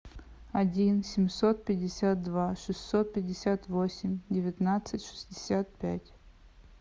один семьсот пятьдесят два шестьсот пятьдесят восемь девятнадцать шестьдесят пять